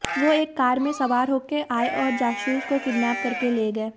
वो एक कार में सवार होकर आए और जासूस को किडनेप करके ले गए